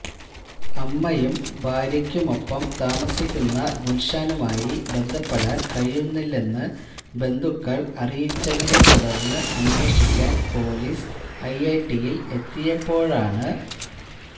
അമ്മയ്ക്കും ഭാര്യക്കുമൊപ്പം താമസിക്കുന്ന ഗുല്ഷാനുമായി ബന്ധപ്പെടാന് കഴിയുന്നില്ലെന്ന് ബന്ധുക്കള് അറിയിച്ചതിനെ തുടര്ന്ന് അന്വേഷിക്കാന് പൊലീസ് ഐഐടിയില് എത്തിയപ്പോഴാണ്